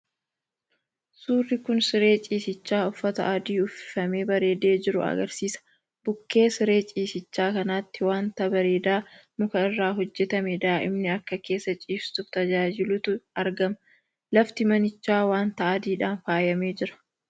1.Suurri kun siree ciisichaa uffata adii uwwifamee bareedee jiru agarsiisa. 2.Bukkee siree cisichaa kanatti wanta bareedaa muka irraa hojjetame daa'imni akka keessa ciistuuf tajaajilutu argama. 3.Lafti manichaa wanta adiidhaan faayamee jira.